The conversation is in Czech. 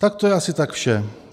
Tak to je asi tak vše.